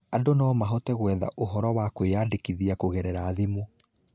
Andũ no mahote gwetha ũhoro wa kwĩyandĩkithia kũgerera thimũ.